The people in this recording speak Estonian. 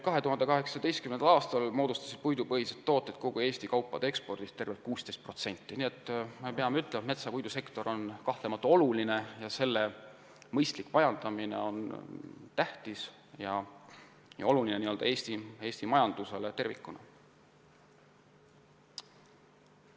2018. aastal moodustasid puidupõhised tooted kogu Eesti kaupade ekspordist tervelt 16%, nii et metsa- ja puidusektor on kahtlemata oluline ning metsa mõistlik majandamine on tähtis Eesti majandusele tervikuna.